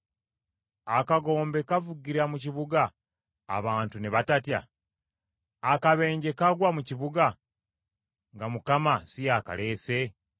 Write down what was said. Akagombe kavugira mu kibuga abantu ne batatya? Akabenje kagwa mu kibuga nga Mukama si y’akaleese?